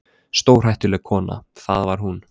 Stórhættuleg kona, það var hún.